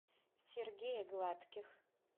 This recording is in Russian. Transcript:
сергея гладких